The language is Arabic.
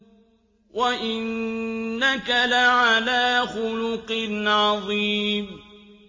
وَإِنَّكَ لَعَلَىٰ خُلُقٍ عَظِيمٍ